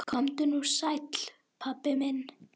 Komdu nú sæll, pabbi minn.